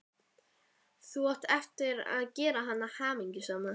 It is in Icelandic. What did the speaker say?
Þú átt eftir að gera hana hamingjusama.